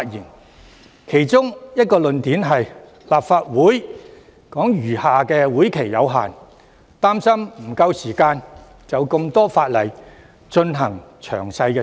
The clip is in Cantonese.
他們提出的其中一個論點是，立法會餘下的會期有限，擔心沒有足夠時間就多項法例進行詳細審議。